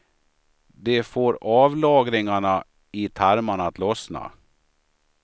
De får avlagringarna i tarmarna att lossna.